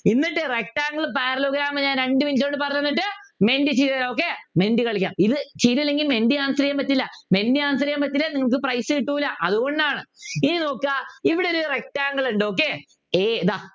എന്നിട്ട് rectangle parallelogram ഞാൻ രണ്ടു minute കൊണ്ട് പറഞ്ഞു തന്നിട്ട് മെൻറ്റി ചെയ്തുതരാം okay മെൻറ്റി കളിക്കാം ഇത് ചെയ്തില്ലെങ്കിൽ മെൻറ്റി Answer ചെയ്യാൻ പറ്റില്ല മെൻറ്റി Answer ചെയ്യാൻ പറ്റിയില്ലെങ്കിൽ നിങ്ങൾക്ക് prize കിട്ടൂല അതുകൊണ്ടാണ് ഇനി നോക്കുക ഇവിടൊരു rectangle ഉണ്ട് okay a ഇതാ